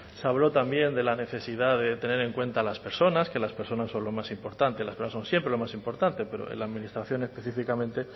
se habló también de la necesidad de tener en cuenta a las personas que las personas son lo más importante las personas son siempre lo más importante pero en la administración específicamente